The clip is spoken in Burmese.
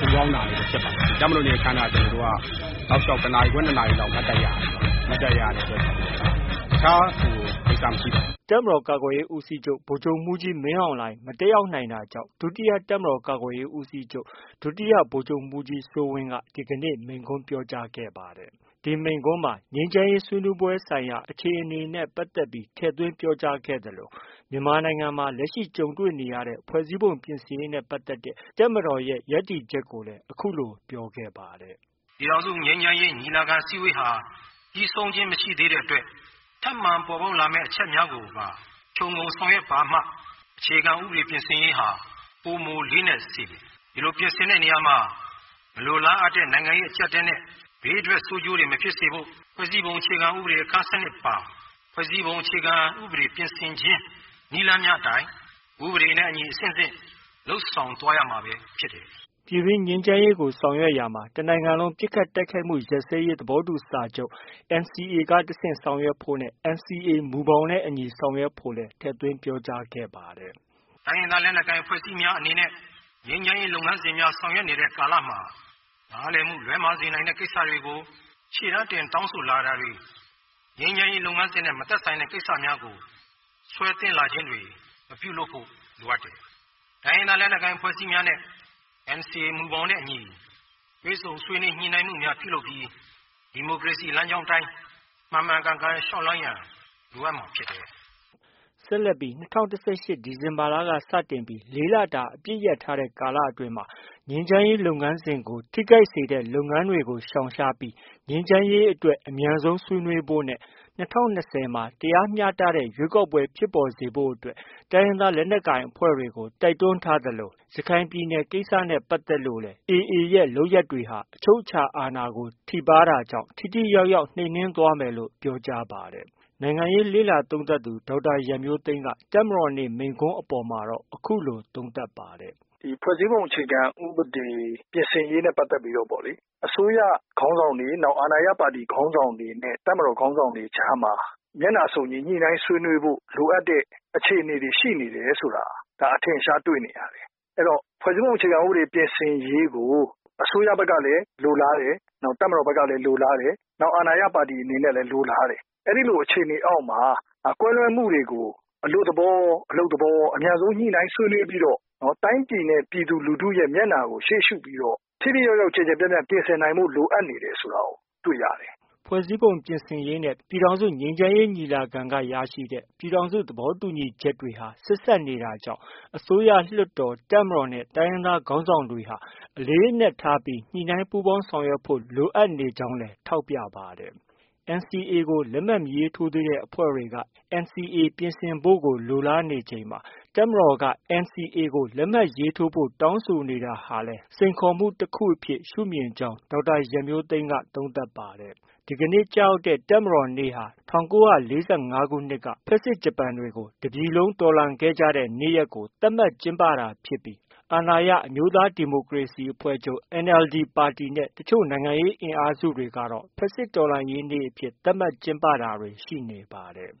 ဒူးခေါင်းနာနေတဲ့အတွက်ဖြစ်ပါတယ်။ တပ်မတော်နေ့အခမ်းအနားက တောက်လျှောက် ၁နာရီခွဲ ၂နာရီလောက် မတ်တပ်ရပ်ရတယ်။ မတ်တပ်ရပ်ရတဲ့အတွက်ကြောင့်။ တခြား ကိစ္စ မရှိပါဘူး။” တပ်မတော် ကာကွယ်ရေး ဦးစီးချုပ် ဗိုလ်ချုပ်မှူးကြီး မင်းအောင်လှိုင် မတက်ရောက် နိုင်တာကြောင့် ဒုတိယတပ်မတော်ကာကွယ်ရေးဦးစီးချုပ် ဒုတိယဗိုလ်ချုပ်မှူးကြီးစိုးဝင်းက တပ်စစ်ဆေးတာ၊ မိန့်ခွန်းပြောတာနဲ့ အလေးပြုခံတာတွေကို ကိုယ်စား ဆောင်ရွက် ခဲ့ပါတယ်။ ဒုတိယတပ်မတော်ကာကွယ်ရေးဦးစီးချုပ်ရဲ့ မိန့်ခွန်းမှာ ဖွဲ့စည်းပုံပြင်ဆင်ရေးနဲ့ပတ်သက်လို့ အခုလို ပြောပါတယ်။ “ပြည်ထောင်စုငြိမ်းချမ်းရေးညီလာခံဟာ ပြီးဆုံးခြင်းမရှိသေးတဲ့အတွက် ထပ်မံပေါ်ပေါက် လာမယ့် အချက်များ ကို ခြုံငုံဆောင်ရွက်ပါမှ အခြေခံဥပဒေပြင်ဆင်ရေးဟာ ပိုမိုလေးနက် စေမယ်။ ဒီလို ပြင်ဆင်တဲ့နေရာမှာ မလိုလားအပ်တဲ့ နိုင်ငံရေးအကျပ်အတည်းနဲ့ ဘေးထွက် ဆိုးကျိုးတွေ မဖြစ်စေဖို့ ဖွဲ့စည်းပုံအခြေခံဥပဒေ အခန်း ၁၂ ပါ ဖွဲ့စည်းပုံ အခြေခံဥပဒေပြင်ဆင်ခြင်း နည်းလမ်းများအတိုင်း ဥပဒေနဲ့အညီ အဆင့်ဆင့် လုပ်ဆောင် သွားရမှာပဲဖြစ်တယ်။ ” ပြည်တွင်းငြိမ်းချမ်းရေးကို ဆောင်ရွက်ရာမှာ တစ်နိုင်ငံလုံး ပစ်ခတ် တိုက်ခိုက်မှု ရပ်စဲရေး သဘောတူစာချုပ် NCA က တဆင့် ဆောင်ရွက်ဖို့နဲ့ NCA မူဘောင်နဲ့အညီ ဆောင်ရွက်ဖို့လည်း ထည့်သွင်း ပြောကြားခဲ့ပါတယ်။ “တိုင်းရင်းသားလက်နက်ကိုင်အဖွဲ့အစည်းများအနေနဲ့ ငြိမ်းချမ်းရေးလုပ်ငန်းစဉ်များ ဆောင်ရွက်နေတဲ့ ကာလ မှာ နားလည်မှု လွဲမှားစေနိုင်တဲ့ ကိစ္စတွေကို ရှေ့တန်းတင် တောင်းဆိုလာတာတွေ၊ ငြိမ်းချမ်းရေး လုပ်ငန်းစဉ်နဲ့ မသက်ဆိုင်တဲ့ ကိစ္စများကို ဆွဲသွင်းလာခြင်းတွေ မပြုလုပ်ဖို့ လိုအပ်တယ်။ တိုင်းရင်းသား လက်နက်ကိုင် အဖွဲ့အစည်းများ အနေနဲ့ NCA မူဘောင်နဲ့ အညီ တွေ့ဆုံဆွေးနွေး ညှိနှိုင်းမှုများပြုလုပ်ပြီး ဒီမိုကရေစီ လမ်းကြောင်း အတိုင်း မှန်မှန်ကန်ကန်လျှောက်လှမ်းရန် လိုအပ်မှာ ဖြစ်တယ်။” ဆက်လက်ပြီး ၂၀၁၈ ဒီဇင်ဘာလက စတင်ပြီး ၄လတာ အပစ်ရပ်ထားတဲ့ ကာလ အတွင်းမှာ ငြိမ်းချမ်းရေး လုပ်ငန်းစဉ်ကို ထိခိုက်စေတဲ့ လုပ်ငန်းတွေကို ရှောင်ရှားပြီး ငြိမ်းချမ်းရေးအတွက် အမြန်ဆုံးဆွေးနွေးဖို့နဲ့ ၂၀၂၀မှာ တရားမျှတတဲ့ ရွေးကောက်ပွဲ ဖြစ်ပေါ်စေဖို့အတွက် တိုင်းရင်းသား လက်နက်ကိုင်အဖွဲ့တွေကို တိုက်တွန်းထားသလို ရခိုင်ပြည်နယ် ကိစ္စနဲ့ ပတ်သက်လို့ AA ရဲ့လုပ်ရပ်တွေဟာ အချုပ်အခြာအာဏာကို ထိပါးတာဖြစ်လို့ ထိထိရောက်ရောက် နှိမ်နင်းသွားမယ်လို့ ပြောကြားပါတယ်။ ဒီမိန့်ခွန်းအပေါ်မှာတော့ နိုင်ငံရေးလေ့လာသုံးသပ်သူ ဒေါက်တာရန်မျိုးသိမ်းက အခုလို ပြောဆိုပါတယ်။ “ဖွဲ့စည်းပုံအခြေခံ ဥပဒေပြင်ဆင်ရေးနဲ့ ပတ်သက်ပြီးတော့ အစိုးရခေါင်းဆောင်တွေ၊ အာဏာရပါတီ ခေါင်းဆောင်တွေနဲ့ တပ်မတော် ခေါင်းဆောင်တွေကြားမှာ မျက်နှာစုံညီ ညှိနှိုင်းဆွေးနွေးဖို့ လိုအပ်တဲ့ အခြေအနေတွေ ရှိနေတယ်ဆိုတာ အထင်အရှားတွေ့နေ ရတယ်။ အဲတော့ ဖွဲ့စည်းပုံအခြေခံ ဥပဒေပြင်ဆင်ရေးကို အစိုးရဘက်ကလည်း လိုလားတယ်။ တပ်မတော်ဘက်ကလည်း လိုလားတယ်။ နောက် အာဏာရ ပါတီဘက် ကလည်း လိုလားတယ်။ အဲလို အခြေအနေအောက်မှာ ကွဲလွဲမှုတွေကို အလွတ် သဘောရော၊ အလုပ်သဘောရော အမြန်ဆုံး ညှိနှိုင်းဆွေးနွေးပြီးတော့ တိုင်းပြည်နဲ့ ပြည်သူလူထု မျက်နှာကို ရှေ့ရှုပြီးတော့ ထိထိရောက်ရောက် ကျယ်ကျယ်ပြန့်ပြန့် လုပ်ဆောင်ဖို့ လိုအပ်နေတယ်ဆိုတာကို တွေ့ရတယ်။” ဖွဲ့စည်းပုံပြင်ဆင်ရေးနဲ့ ပြည်ထောင်စု ငြိမ်းချမ်းရေးညီလာခံက ရရှိတဲ့ ပြည်ထောင်စု သဘောတူညီချက် တွေဟာ ဆက်စပ်နေတာကြောင့် အစိုးရ၊ လွှတ်တော်၊ တပ်မတော်နဲ့ တိုင်းရင်းသား ခေါင်းဆောင်တွေဟာ အလေးအနက် ထား ညှိနှိုင်း ပူးပေါင်းဆောင်ရွက်ဖို့ လိုအပ်နေကြောင်းလည်း ထောက်ပြပါတယ်။ NCA ကို လက်မှတ် မရေးထိုးသေးတဲ့ အဖွဲ့တွေက NCA ပြင်ဆင်ဖို့ကို လိုလားနေချိန်မှာ တပ်မတော်ဟာ NCA ကို လက်မှတ်ရေးထိုးဖို့ တောင်းဆိုနေတာဟာလည်း စိန်ခေါ်မှု တစ်ခုအဖြစ် ရှုမြင်ကြောင်း ပြောဆိုပါတယ်။ ဒီကနေ့ ကျရောက်တဲ့ တပ်မတော်နေ့ဟာ ၁၉၄၅ ခုနှစ်က ဖက်ဆစ်ဂျပန်တွေကို တစ်ပြည်လုံး တော်လှန်ခဲ့ကြတဲ့ နေ့ရက်ကို သတ်မှတ် ကျင်းပတာဖြစ်ပြီး အာဏာရ အမျိုးသားဒီမိုကရေစီအဖွဲ့ချုပ် NLD ပါတီနဲ့ တစ်ချို့ နိုင်ငံရေး အင်အားစုတွေကတော့ ဖက်ဆစ်တော်လှန်ရေးနေ့ အဖြစ် သတ်မှတ် ကျင်းပတာတွေ ရှိနေပါတယ်